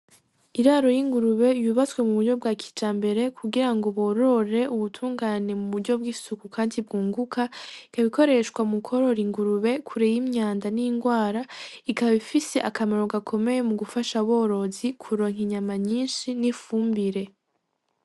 Iraro y'ingurube yubatse mu buryo bwa kijambere kugira ngo borore, ubutungane mu buryo bw'isuku kandi bwunguka, ibikoreshwa mukworora ingurube, kure y'imyanda n'ingwara. Bikaba bifise akamaro gakomeye mugufasha aborozi kuronka inyama nyinshi n'ifumbire